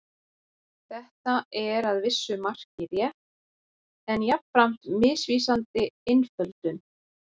Þetta er að vissu marki rétt en jafnframt misvísandi einföldun.